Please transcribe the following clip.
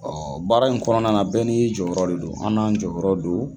baara in kɔnɔna na bɛɛ n'i jɔyɔrɔ de don, an n'an jɔyɔrɔ don